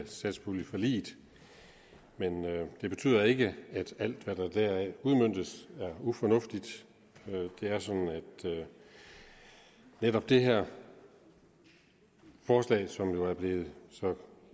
satspuljeforliget men det betyder ikke at alt hvad der deraf udmøntes er ufornuftigt det er sådan at netop det her forslag som jo er blevet så